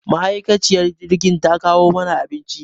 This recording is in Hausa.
Ma'aikaciyar jirgin ta kawo mana abinci.